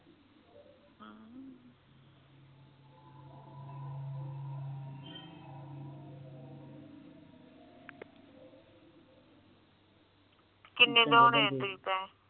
ਕੀਨੇ ਦਯੋਨੇ ਆ ਤੁਸੀ ਪੈਸੇ